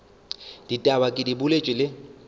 ditaba ke di boletše le